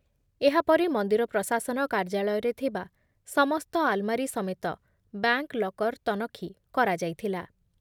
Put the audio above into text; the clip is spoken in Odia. ଏହାପରେ ମନ୍ଦିର ପ୍ରଶାସନ କାର୍ଯ୍ୟାଳୟରେ ଥିବା ସମସ୍ତ ଆଲ୍‌ମାରୀ ସମେତ ବ୍ୟାଙ୍କ୍ ଲକର୍ ତନଖି କରାଯାଇଥିଲା ।